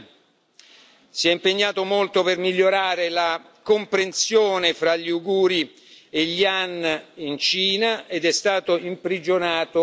Si è impegnato molto per migliorare la comprensione fra gli uiguri e gli han in Cina ed è stato imprigionato a vita.